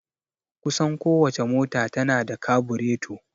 Kusan ko wace mota ta na da kabureto